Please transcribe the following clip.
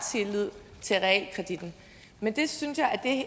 tillid til realkreditten men jeg synes at